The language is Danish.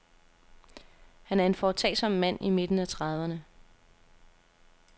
Han er en foretagsom mand i midten af trediverne.